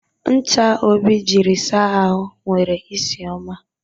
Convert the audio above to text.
Ncha Obi jiri saa ahụ nwere isi ọma.